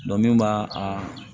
min b'a a